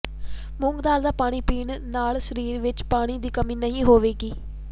ਮੂੰਗ ਦਾਲ ਦਾ ਪਾਣੀ ਪੀਣ ਨਾਲ ਸਰੀਰ ਵਿੱਚ ਪਾਣੀ ਦੀ ਕਮੀ ਨਹੀਂ ਹੋਵੇਗੀ